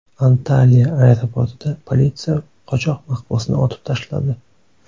Antalya aeroportida politsiya qochoq mahbusni otib tashladi.